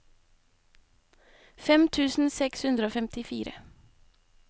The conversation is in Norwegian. fem tusen seks hundre og femtifire